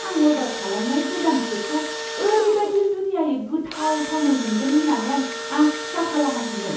आं अर्डार खालामनाय गोदान केकखौ ओरैबादि जुनियायै गोथाव थावनाय मोनगोन होननानै आं आसा खालामाखैमोन।